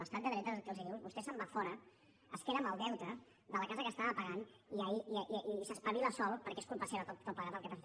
l’estat de dret el que els diu és vostè se’n va fora es queda amb el deute de la casa que estava pagant i s’espavila sol perquè és culpa seva tot plegat el que passa